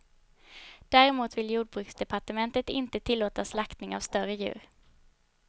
Däremot vill jordbruksdepartementet inte tillåta skäktning av större djur.